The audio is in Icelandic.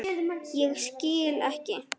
Ég skil ekki.